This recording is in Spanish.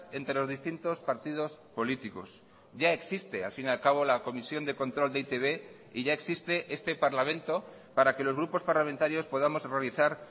entre los distintos partidos políticos ya existe al fin y al cabo la comisión de control de e i te be y ya existe este parlamento para que los grupos parlamentarios podamos realizar